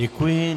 Děkuji.